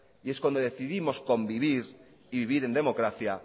y es cuando decidimos convivir y vivir en democracia